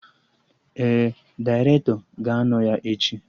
Ee, dairetọ ga-anọ ya echi